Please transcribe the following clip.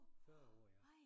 40 år ja